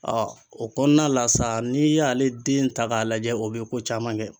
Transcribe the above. o kɔnɔna la sa n'i y'ale den ta k'a lajɛ o bɛ ko caman kɛ.